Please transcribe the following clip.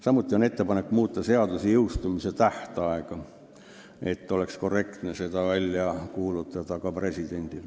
Samuti oli neil ettepanek muuta seaduse jõustumise tähtaega, et ka president saaks seaduse korrektselt välja kuulutada.